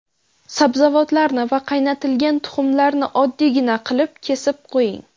Sabzavotlarni va qaynatilgan tuxumlarni oddiygina qilib kesib qo‘ying.